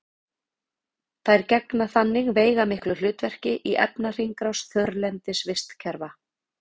þær gegna þannig veigamiklu hlutverki í efnahringrás þurrlendis vistkerfa